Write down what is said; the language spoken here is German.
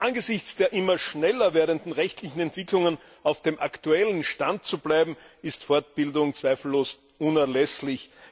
Um angesichts der immer schneller werdenden rechtlichen Entwicklungen auf dem aktuellen Stand zu bleiben, ist Fortbildung zweifellos unerlässlich.